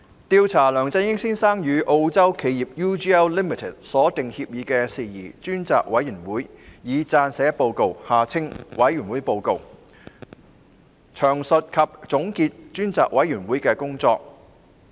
調查梁振英先生與澳洲企業 UGL Limited 所訂協議的事宜專責委員會已撰寫報告，詳述及總結專責委員會的工作。